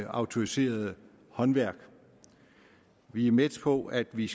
autoriserede håndværk vi er med på at vi